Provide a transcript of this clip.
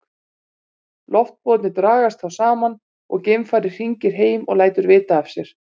Loftpúðarnir dragast þá saman og geimfarið hringir heim og lætur vita af sér.